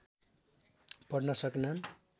पढ्न सकेनन्